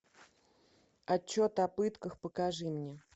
отчет о пытках покажи мне